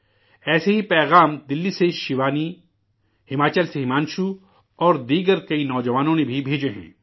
ایسے ہی پیغامات دلی سے شیوانی، ہماچل سے ہمانشو اوردوسرے کئی نوجوانوں نے بھی بھیجے ہیں